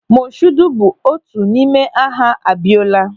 Mọshuudu bụ otu n'ime aha Abiọla.